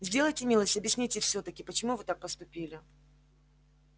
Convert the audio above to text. сделайте милость объясните всё-таки почему вы так поступили